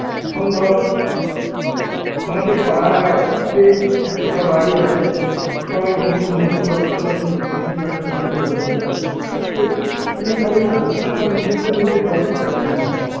এখন ধর আমাদের পাড়ায়, যে একশোটা বাড়ি আছে সবাই ঘুগনি মুড়ি চপ এসব নিয়ে বিক্রি বাট্টা শুরু করলো, তাহলে কেউ কিনে খাবে না কারণ আমার নিজেরটা আমি নিজে খাব. তোরটা কেন খাব?